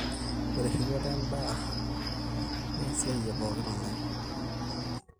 ore erripoto endee naa esiai e pooki tung'ani